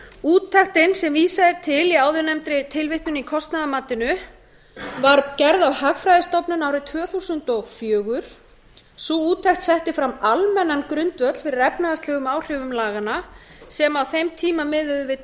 úttektin sem vísað er til í áðurnefndri tilvitnun í kostnaðarmatinu var gerð af hagfræðistofnun árið tvö þúsund og fjögur sú úttekt setti fram almennan grundvöll fyrir efnahagslegum áhrifum laganna sem á þeim tíma miðuðu við